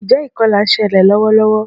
Njé ìkolà nselè lówó lówó?